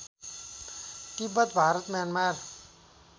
Tibet Bharat Myanmar